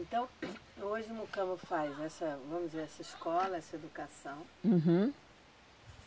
Então, hoje o Mucamo faz essa, vamos dizer, essa escola, essa educação. Uhum.